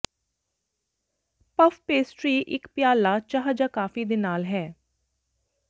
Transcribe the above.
puff pastry ਇੱਕ ਪਿਆਲਾ ਚਾਹ ਜਾਂ ਕਾਫੀ ਦੇ ਨਾਲ ਹੈ